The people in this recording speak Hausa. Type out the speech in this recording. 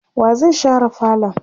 wa zai share falon?